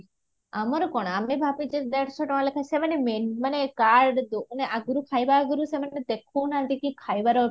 ଆମର କଣ ଆମେ ଭବିଚୁ ଦେଢଶ ଟଙ୍କା ଲେଖା ସେମାନେ menu ମାନେ card ଆଗରୁ ଖାଇବା ଆଗରୁ ସେମାନେ ଦେଖାଉନାହାନ୍ତି କି ଖାଇବା